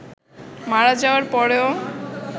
মারা যাওয়ার পরেও